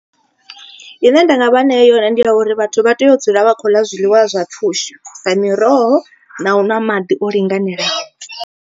I ne nda nga vha nea yone ndi ya uri vhathu vha tea u dzula vha khou ḽa zwiḽiwa zwa pfhushi, sa miroho na u ṅwa maḓi o linganelaho.